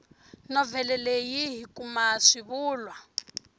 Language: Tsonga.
novhele leyi hi kuma xivulwa